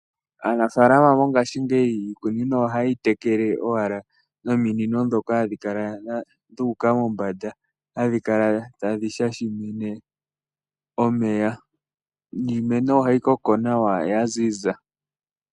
Aanafalama mongaashi ngeyi iikunino ohayeyi tekele owala nominino ndhoka hadhi kala dhuuka mombanda hadhi kala tadhi shashiminne omeya, niimeno ohayi koko nawa yaziza.